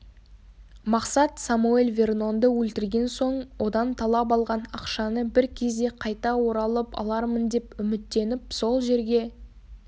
мақсат самоэль вернонды өлтірген соң одан талап алған ақшаны бір кезде қайта оралып алармын деп үміттеніп сол жерге